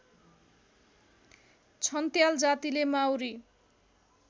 छन्त्याल जातिले माउरी